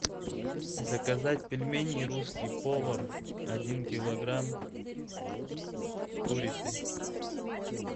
заказать пельмени русский повар один килограмм с курицей